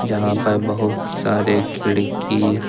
जहां पर बहुत सारे खिड़की--